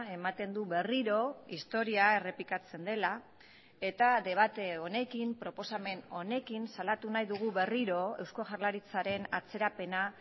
ematen du berriro historia errepikatzen dela eta debate honekin proposamen honekin salatu nahi dugu berriro eusko jaurlaritzaren atzerapena